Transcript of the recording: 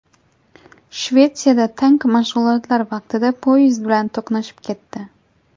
Shvetsiyada tank mashg‘ulotlar vaqtida poyezd bilan to‘qnashib ketdi.